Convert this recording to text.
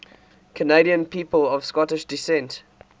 canadian people of scottish descent